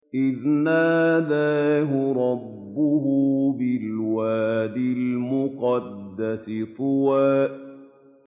إِذْ نَادَاهُ رَبُّهُ بِالْوَادِ الْمُقَدَّسِ طُوًى